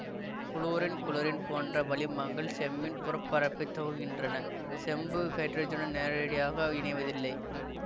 fluorine chlorine போன்ற வளிமங்கள் செம்மின் புறப்பரப்பைத் துங்கின்றன செம்பு ஹைட்ரஜனுன் நேரடியாக இணைவதில்லை